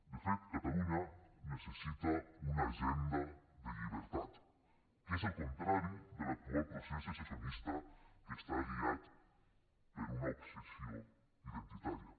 de fet catalunya necessita una agenda de llibertat que és el contrari de l’actual procés secessionista que està guiat per una obsessió identitària